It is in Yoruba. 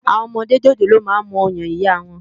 Awòn òmòdé jójólóò mà n mú òyán iyá wán